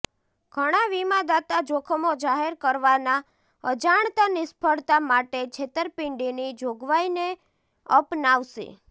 ઘણાં વીમાદાતા જોખમો જાહેર કરવાના અજાણતા નિષ્ફળતા માટે છેતરપિંડીની જોગવાઇને અપનાવશે